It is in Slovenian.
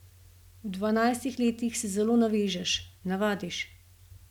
V dvanajstih letih se zelo navežeš, navadiš.